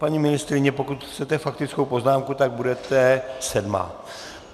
Paní ministryně, pokud chcete faktickou poznámku, tak budete sedmá.